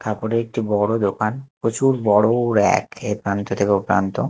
কাপড়ে একটি বড় দোকান প্রচুর বড় ও র‍্যাক এ প্রান্ত থেকে ও প্রান্ত।